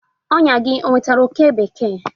Ọnyà gị ọ nwetara oke bekee?